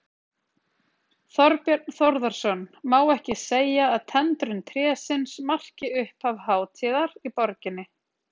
Þorbjörn Þórðarson: Má ekki segja að tendrun trésins marki upphaf hátíðar í borginni?